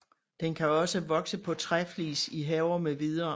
Den kan også vokse på træflis i haver mv